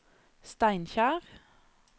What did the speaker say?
Steinkjer